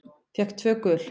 Fékk tvö gul.